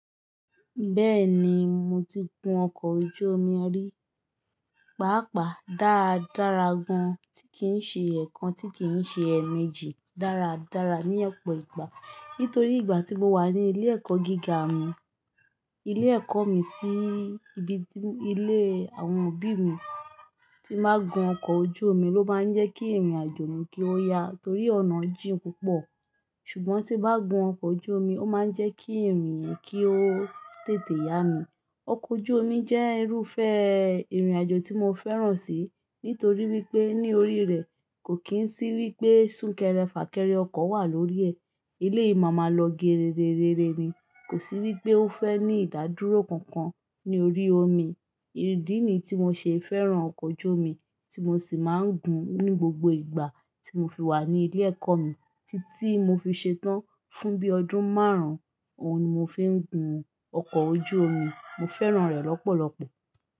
Bẹ́ẹ̀ni, mo ti gun ọkọ̀ ojú omi rí, pàápàá dáradára gan-an, tí kìí ṣe ẹ̀ kan, tí kìí ṣe ẹ́ẹ̀ méjì dáradára ní ọ̀pọ̀ ìgbà. Nítorí ìgbà tí mo wà ní ilé ẹ̀kọ́ gíga mi, ilé ẹ̀kọ́ mi sí ibi ilé àwọn òbí mi, tí máa gun ọkọ̀ ojú omi ló máa ń jẹ́ kí ìrìnàjò mi kí ó ya torí ọ̀nà jìn púpọ̀. Ṣùgbọ́n tí bá gun ọkọ̀ ojú omi, ó máa ń jẹ́ kí ìrìn yẹn kí ó tètè ya mi. Ọkọ̀ ojú omi jẹ́ irúfẹ́ ìrìnàjò tí mo fẹ́ràn sì, nítorí wípé ní orí rẹ̀ kò kí ń sí wípé súnkẹrẹ fàkẹrẹ ọkọ̀ wà lórí ẹ̀. Eléyìí màmà lọ gere rerere ni, kò sí wípé ó fẹ́ ní ìdádúró kankan ní orí omi. Idì níyi tí mo ṣe fẹ́ràn ọkọ̀ ojú omi tí mo sì máa ń gun ní gbogbo ìgbà tí mo fi wà ní ilé ẹ̀kọ́ mi títí mo fi ṣetán. Fún bí ọdún márùn-ún, òun ni mo fi ń gun ọkọ̀ ojú omi. Mo fẹ́ràn rẹ̀ lọ́pọ̀lọpọ̀.